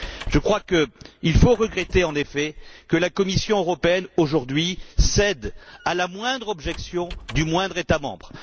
Je crois qu'il faut regretter en effet que la Commission européenne, aujourd'hui, cède à la moindre objection du moindre État membre.